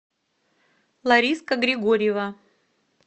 лариска григорьева